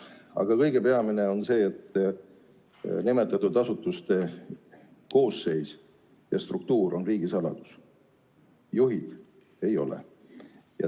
Aga peamine on see, et nimetatud asutuste koosseis ja struktuur on riigisaladus, juhtide nimed ei ole.